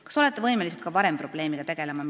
Kas olete võimelised ka varem probleemiga tegelema?